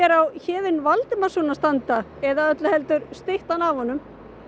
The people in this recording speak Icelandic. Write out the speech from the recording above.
á Héðinn Valdimarsson að standa eða öllu heldur styttan af honum